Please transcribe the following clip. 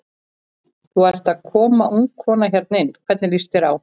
Þú ert að koma ung kona hérna inn, hvernig líst þér á?